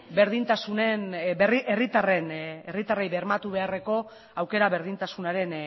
herritarrei bermatu beharreko aukera berdintasunaren